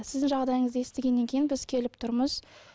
сіздің жағдайыңызды естігеннен кейін біз келіп тұрмыз